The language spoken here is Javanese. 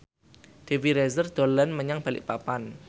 Dewi Rezer dolan menyang Balikpapan